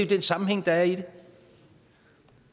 den sammenhæng der er i det